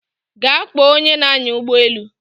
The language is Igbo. Gaa kpọọ onye na-anya ụgbọelu